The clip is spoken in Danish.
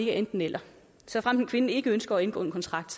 enten eller såfremt en kvinde ikke ønsker at indgå en kontrakt